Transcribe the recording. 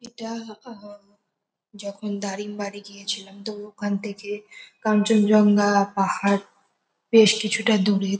এটা আহ যখন দারিম্বারি গিয়েছিলাম তো ওখান থেকে কাঞ্চনজঙ্ঘা পাহাড় বেশ কিছুটা দূরে।